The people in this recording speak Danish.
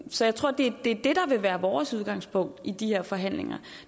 så jeg tror det er det der vil være vores udgangspunkt i de her forhandlinger